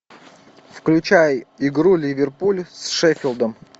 включай игру ливерпуль с шеффилдом